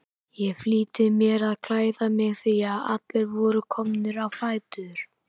Ég flýtti mér að klæða mig því að allir voru komnir á fætur.